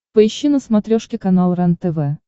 поищи на смотрешке канал рентв